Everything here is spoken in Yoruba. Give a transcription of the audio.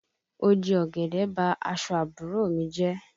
Oje ọ̀gẹ̀dẹ̀ bá aṣọ àbúrò mi jẹ́